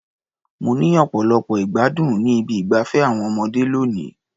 Mo ní ọ̀pọ̀lọpọ̀ ìgbádùn ní ibi ìgbafé àwọn ọmọdé lónìí.